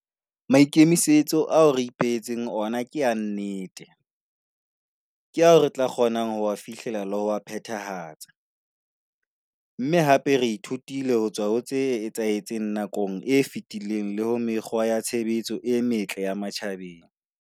Maikemisetso ao re ipehe tseng ona ke a nnete, ke ao re tla kgonang ho a fihlella le ho a phethahatsa, mme hape re ithutile ho tswa ho tse etsahetseng nakong e fetileng le ho mekgwa ya tshebetso e metle ya matjhabeng.